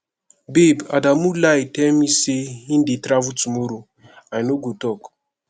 babe adamu lie tell me say he dey travel tomorrow i no go talk